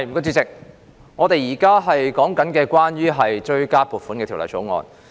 主席，我們現在討論的是《追加撥款條例草案》。